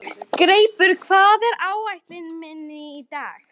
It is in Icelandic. Greipur, hvað er á áætluninni minni í dag?